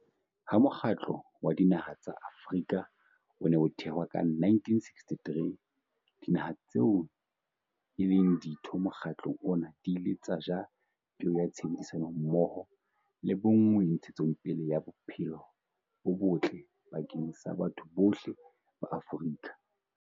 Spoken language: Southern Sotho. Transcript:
Ha Mokgatlo wa Dinaha tsa Afrika o ne o thewa ka 1963, dinaha tseo e leng ditho mokgatlong ona di ile tsa jala peo ya tshebedisano mmoho le bonngwe ntshetsopeleng ya bophelo bo botle bakeng sa batho bohle ba Afrika.